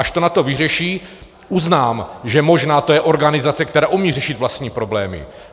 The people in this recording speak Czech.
Až to NATO vyřeší, uznám, že možná to je organizace, která umí řešit vlastní problémy.